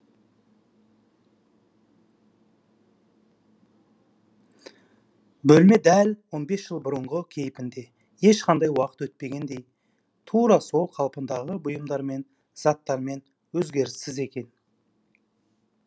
бөлме дәл он бес жыл бұрынғы кейіпінде ешқандай уақыт өтпегендей тура сол қалпындағы бұйымдармен заттармен өзгеріссіз екен